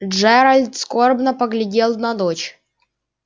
джеральд скорбно поглядел на дочь